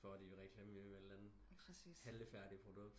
For de vil reklamere for et eller andet fallefærdigt produkt